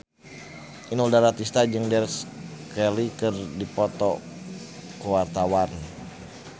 Inul Daratista jeung Grace Kelly keur dipoto ku wartawan